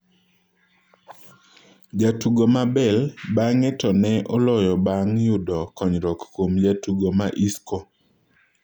Jatugo ma Bale bang'e to ne oloyo bang' yudo konyruok kwom Jatugo ma Isco.